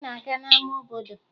Anyị na-aga n'ama obodo